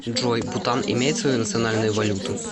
джой бутан имеет свою национальную валюту